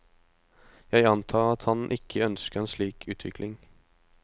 Jeg antar at han ikke ønsker en slik utvikling.